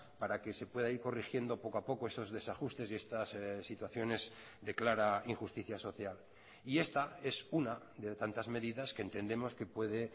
para que se pueda ir corrigiendo poco a poco esos desajustes y estas situaciones de clara injusticia social y esta es una de tantas medidas que entendemos que puede